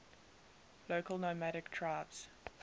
local nomadic tribes